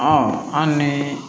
an ni